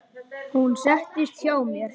Hún settist hjá mér.